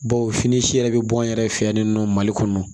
Baw fini si yɛrɛ bɛ bɔ n yɛrɛ fɛ yan ninɔ mali kɔnɔ